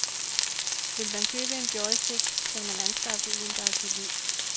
Vil man købe en joystick, skal man anskaffe en, der er solid.